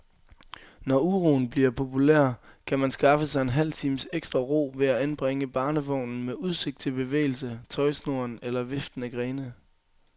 Når uroen bliver populær, kan man skaffe sig en halv times ekstra ro ved at anbringe barnevognen med udsigt til bevægelse, tøjsnoren eller viftende grene.